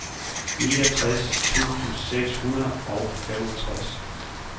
niogtres tusind seks hundrede og femogtres